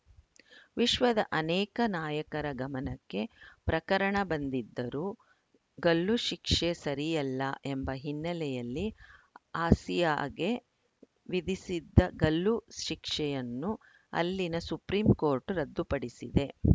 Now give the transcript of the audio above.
ವಿಶ್ವದ ಅನೇಕ ನಾಯಕರ ಗಮನಕ್ಕೆ ಪ್ರಕರಣ ಬಂದಿದ್ದರೂ ಗಲ್ಲುಶಿಕ್ಷೆ ಸರಿಯಲ್ಲ ಎಂಬ ಹಿನ್ನೆಲೆಯಲ್ಲಿ ಆಸಿಯಾಗೆ ವಿಧಿಸಿದ್ದ ಗಲ್ಲು ಶಿಕ್ಷೆಯನ್ನು ಅಲ್ಲಿನ ಸುಪ್ರಿಂ ಕೋರ್ಟ್‌ ರದ್ದುಪಡಿಸಿದೆ